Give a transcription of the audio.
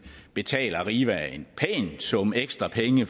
betale arriva en pæn sum ekstra penge